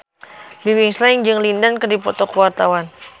Bimbim Slank jeung Lin Dan keur dipoto ku wartawan